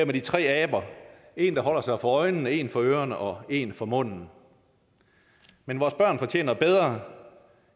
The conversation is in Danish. de tre aber en der holder sig for øjnene en for ørerne og en for munden men vores børn fortjener bedre